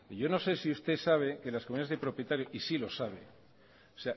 yo no sé si usted sabe que las comunidades de propietarios y sí lo sabe o